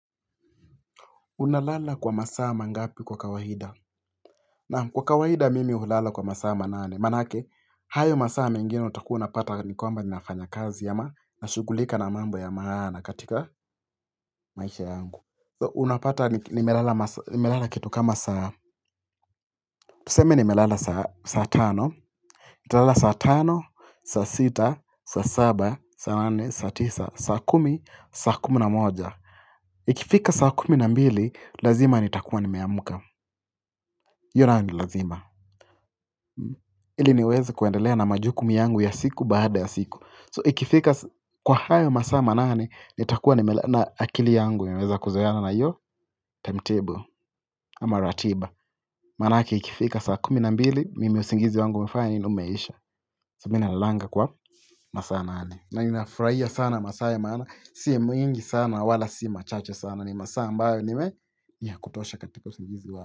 Unalala kwa masaa mangapi kwa kawaida? Na kwa kawaida mimi hulala kwa masaa manane. Manake, hayo masaa mengins utakuwa unapata nikwamba ninafanya kazi ama na shugulika na mambo ya maana katika maisha yangu. Unapata nimelala kitu kama saa. Tuseme nimelala saa tano. Nitalala saa tano, saa sita, saa saba, saa nane, saa tisa, saa kumi, saa kumi na moja. Ikifika saa kumi na mbili, lazima nitakua nimeamka. Hiyo nayo ni lazima Ili niweze kuendelea na majukumi yangu ya siku baada ya siku So ikifika kwa hayo masaa manane ni takua ni meleana akili yangu iweze kuzoeana na iyo Timetable ama ratiba Manake ikifika saa kumi nambili Mimi usingizi wangu umefanya nini umeisha So minalanga kwa masaaa nane na ninafraia sana masaa maana Si mwingi sana wala si machache sana ni masaa ambayo nime ya kutosha katika usingizi wangu.